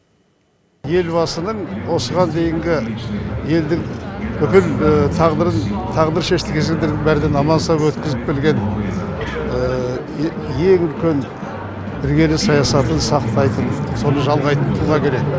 елбасының осыған дейінгі елдің бүкіл тағдырын тағдыр шешіл кезеңдердің бәрінен аман сау өткізіп келген ең үлкен іргелі саясатын сақтайтын соны жалғайтын тұлға керек